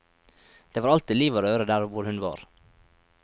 Det var alltid liv og røre der hvor hun var.